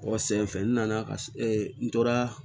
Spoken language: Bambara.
Ɔ senfɛ n nana ka n tora